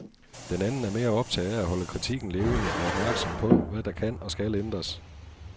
Den anden er mere optaget af at holde kritikken levende og opmærksom på, hvad der kan og skal ændres.